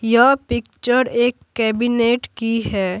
यह पिक्चर एक कैबिनेट की है।